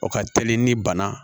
O ka teli ni bana